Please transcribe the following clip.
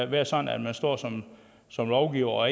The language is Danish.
være sådan at man står som som lovgiver og